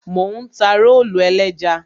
Mò ń ta rólù ẹlẹ́ja.